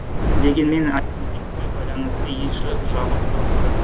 дегенмен айт мерекесіне байланысты елшілік жабық тұрыпты